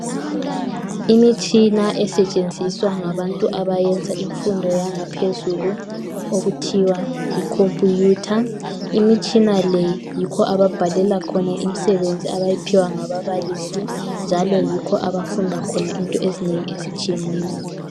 Imitshina esetshenziswa ngabantu abayenza imfundo yangaphezulu. Okuthiwa yicomputer. lmitshina le, yikho ababhalela khona imisebenzi abayiphiwa ngababalisi. Njalo yikho abafunda khona into ezinengi ezitshiyeneyo.